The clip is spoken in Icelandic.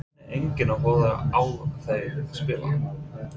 Að það nenni enginn að horfa á þær spila?